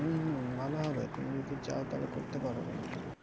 হম হম ভালো হবে তুমি যদি চাও তাহলে করতে পারো কিন্তু